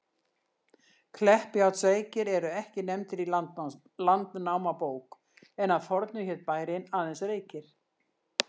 Kleppjárnsreykir eru ekki nefndir í Landnámabók, en að fornu hét bærinn aðeins Reykir.